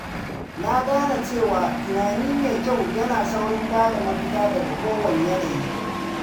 Na gane cewa tunani mai kyau yana saurin bada mafita daga kowane yanayi.